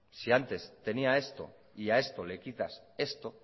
si antes tenía esto y a esto le quitas esto